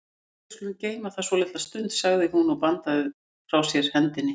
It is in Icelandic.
Æi, við skulum geyma það svolitla stund, sagði hún og bandaði frá sér hendinni.